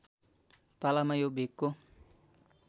पालामा यो भेगको